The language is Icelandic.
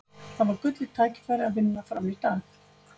Það var gullið tækifæri til að vinna Fram í dag.